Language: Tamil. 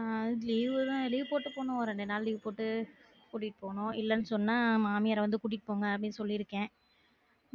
ஆஹ் அது leave தா leave போட்டு போணும் ரெண்டு நாள் leave போட்டு கூட்டிட்டு போணும் இல்லன்னு சொன்னா மாமியார வந்து கூட்டிட்டு போங்கன்னு அப்டின்னு சொல்லி இருக்கேன்